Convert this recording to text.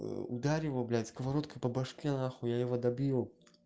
ударь его блядь сковородкой по башке нахуй я его добью